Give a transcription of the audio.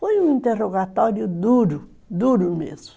Foi um interrogatório duro, duro mesmo.